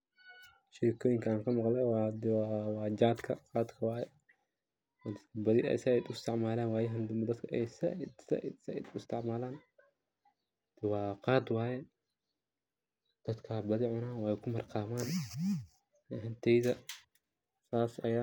Sheekoyinka an kamaqle wa jaadka ama qaadka waye badii ey dadka uistacmalan wayahan dambe dadka ey said uisticmalan, wa qaad waye dadka aya badii cunan weyna kumarqaman, ani ahanteyda sas ayan umaleya